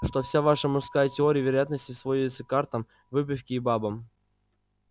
что вся ваша мужская теория вероятности сводится к картам выпивке и бабам